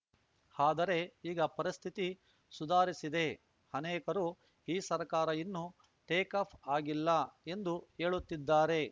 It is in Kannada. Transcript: ಆದರೆ ಈಗ ಪರಿಸ್ಥಿತಿ ಸುಧಾರಿಸಿದೆ ಅನೇಕರು ಈ ಸರ್ಕಾರ ಇನ್ನೂ ಟೇಕಾಫ್‌ ಆಗಿಲ್ಲ ಎಂದು ಹೇಳುತ್ತಿದ್ದಾರೆ